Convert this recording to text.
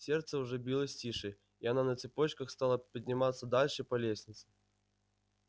сердце уже билось тише и она на цыпочках стала подниматься дальше по лестнице